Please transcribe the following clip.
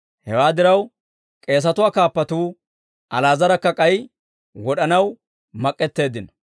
Hewaa diraw, k'eesatuwaa kaappatuu Ali'aazarakka k'ay wod'anaw mak'k'eteeddino.